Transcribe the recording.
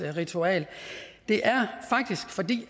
ritual det er faktisk fordi